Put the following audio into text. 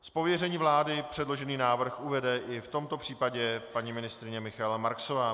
Z pověření vlády předložený návrh uvede i v tomto případě paní ministryně Michaela Marksová.